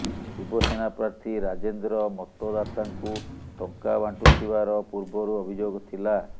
ଶିବସେନା ପ୍ରାର୍ଥୀ ରାଜେନ୍ଦ୍ର ମତଦାତାଙ୍କୁ ଟଙ୍କା ବାଣ୍ଟୁଥିବାର ପୂର୍ବରୁ ଅଭିଯୋଗ ଥିଲା